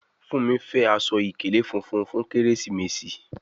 Fúnmi fè Aṣọ ìkèlé fúnfún fún Kérésìmesì.